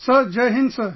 Sir Jai Hind